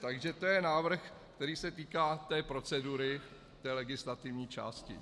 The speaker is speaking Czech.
Takže to je návrh, který se týká té procedury, té legislativní části.